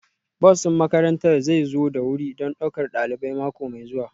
Bus ɗin makarantar zai zo da wuri don ɗaukar ɗalibai mako mai zuwa